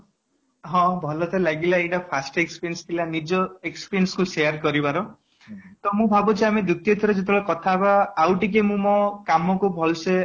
* ହଁ ଭଲ ତ ଲାଗିଲା ଏଇଟା first experience ଥିଲା ନିଜ expression କୁ share କରିବାର ତ ମୁ ଭାବୁଛି ଆମେ ଦ୍ଵିତୀୟ ଥର ଯେତେବେଳେ କଥା ହେବ ଆଉ ଟିକେ ମୁଁ ମୋ କାମକୁ ଭଲ ସେ